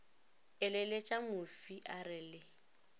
eleletša mofi a re le